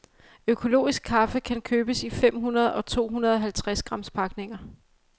Økologisk kaffe kan købes i fem hundrede og to hundrede halvtreds grams pakninger.